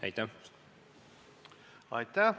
Aitäh!